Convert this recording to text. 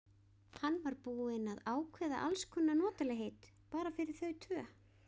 Hann var búinn að ákveða alls konar notalegheit bara fyrir þau tvö.